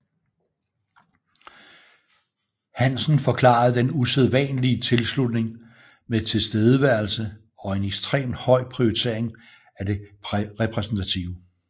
Hansen forklarede den usædvanlige tilslutning med tilstedeværelse og en ekstrem høj prioritering af det repræsentative